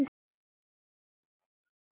Þarna sat sjálfur Peter